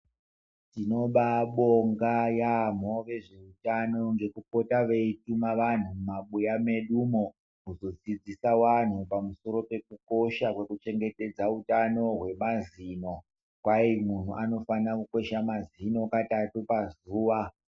Tinobabonga yambo vezveutano ngekupota veituma vanhu mumabuya mwedumwo kuzodzidzisa wanhu pamusoro pekukosha kwekuchengetedza utano hwemazino, kwai munhu anofana kukwesha mazino katatu pazuwa.